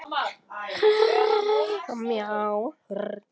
Hann var mjög næmur á umhverfið og á annað fólk.